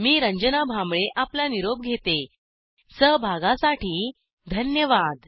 मी रंजना भांबळे आपला निरोप घेते सहभागासाठी धन्यवाद